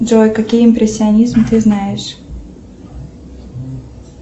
джой какие импрессионизмы ты знаешь